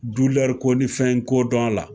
ko ni fɛn ko dɔn a la.